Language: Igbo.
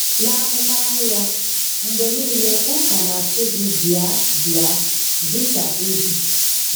N'ahụmahụ ya, mgbe nile ụka na-asị gị bịa bịa dị ka ị dị